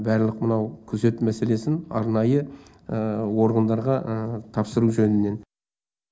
барлық мынау күзет мәселесін арнайы органдарға тапсыру жөнінен